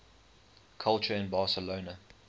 culture in barcelona